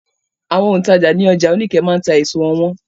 Àwọn òǹtajà ní ọjà Oníkẹ̀ẹ́ máa ta èso wọn wọ́n.